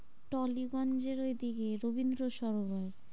টলিগঞ্জ এর ওদিকে রবীন্দ্র সরোবর,